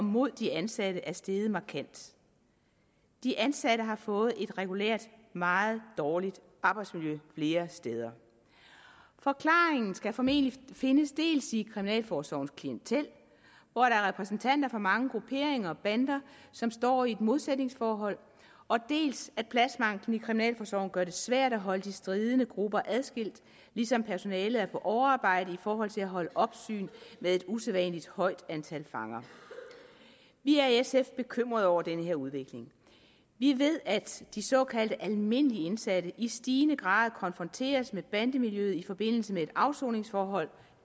mod de ansatte er steget markant de ansatte har fået et regulært meget dårligt arbejdsmiljø flere steder forklaringen skal formentlig findes dels i kriminalforsorgens klientel hvor der er repræsentanter fra mange grupperinger og bander som står i et modsætningsforhold dels at pladsmangelen i kriminalforsorgen gør det svært at holde de stridende grupper adskilt ligesom personalet er på overarbejde i forhold til at holde opsyn med et usædvanlig højt antal fanger vi er i sf bekymrede over den her udvikling vi ved at de såkaldt almindelige indsatte i stigende grad konfronteres med bandemiljøet i forbindelse med et afsoningsforhold